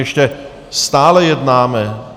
Ještě stále jednáme.